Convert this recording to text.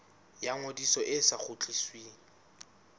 ya ngodiso e sa kgutlisweng